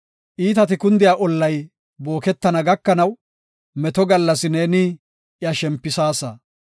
Iitati kundiya ollay booketana gakanaw, meto gallas neeni iya shempisaasa.